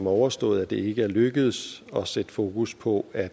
overstået ikke er lykkedes at sætte fokus på at